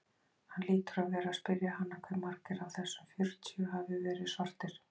Hann hlýtur að vera að spyrja hana hve margir af þessum fjörutíu hafi verið svartir.